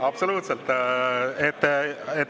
Absoluutselt!